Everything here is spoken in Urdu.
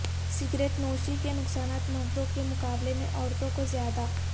سگریٹ نوشی کے نقصانات مردوں کے مقابلے میں عورتوں کو زیادہ